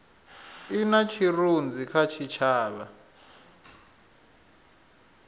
i na tshirunzi kha tshitshavha